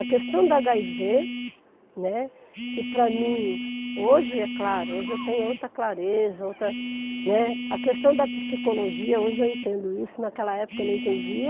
A questão do agáivê, né, que para mim, hoje é claro, hoje eu tenho outra clareza, outra, né, a questão da psicologia, hoje eu entendo isso, naquela época eu não entendia,